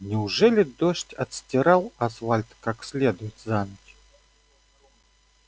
неужели дождь отстирал асфальт как следует за ночь